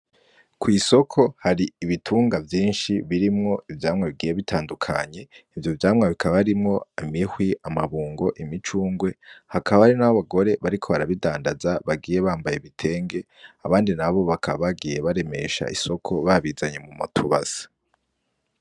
Kw'isoko hari ibitunga vyinshi birimwo ivyamwa bigiye bitandukanye ivyo vyamwa bikaba harimwo:imihwi, amabungo, imicungwe hakaba hari n'abagore bariko barabidandaza bagiye bambaye ibitenge abandi nabo bakaba bagiye baremesha isoko babizanye mutubase.